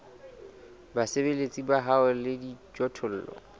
basebeletsi ba hao le dijothollo